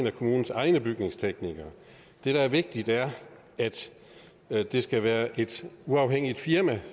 af kommunens egne byggeteknikere det der er vigtigt er at det skal være et uafhængigt firma